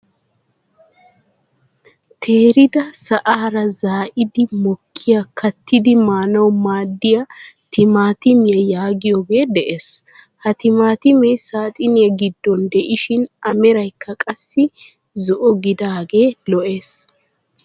Teerida sa'aara zaa'idi mokkiyaa kattidi maanawu maadiyaa timaatimiyaa yaagiyoogee de'ees. ha timaatimee saxiniyaa giddon de'ishin a meraykka qassi zo'o gidaagee lo"ees.